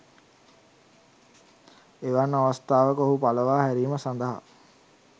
එවන් අවස්ථාවක ඔහු පලවා හැරීම සඳහා